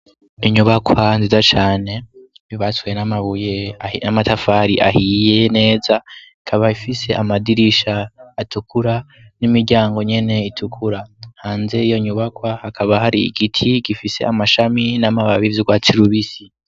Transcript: Inyubakwa nzidacane bibaswe 'amabuye n'amatafari ahiye neza ikaba ifise amadirisha atukura n'imiryango nyene itukura hanze iyo nyubakwa hakaba hari igiti gifise amashami n'amabati vyurwatsi rubisi.